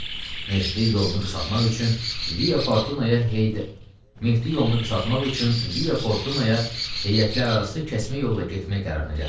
Mehdi yolunu qısaltmaq üçün Via Fortuna-ya heyətlərarası kəsmə yolla getmək qərarına gəldi.